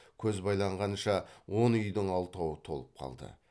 көз байланғанша он үйдің алтауы толып қалды